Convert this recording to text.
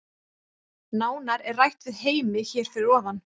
Nánar er rætt við Heimi hér fyrir ofan.